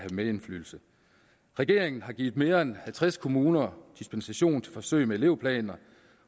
medindflydelse regeringen har givet mere end halvtreds kommuner dispensation til forsøg med elevplaner